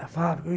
Da fábrica.